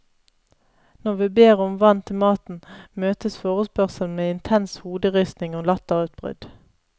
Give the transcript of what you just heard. Når vi ber om vann til maten, møtes forespørselen med intens hoderysting og latterutbrudd.